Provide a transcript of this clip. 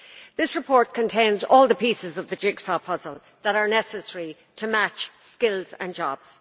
The report contains all the pieces of the jigsaw puzzle that are necessary to match skills and jobs.